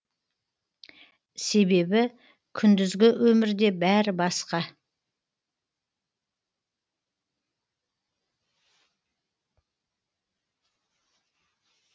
себебі күндізгі өмірде бәрі басқа